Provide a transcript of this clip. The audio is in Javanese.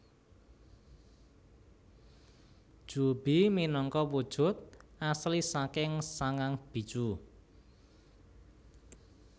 Juubi minangka wujud asli saking sangang bijuu